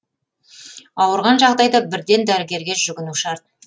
ауырған жағдайда бірден дәрігерге жүгіну шарт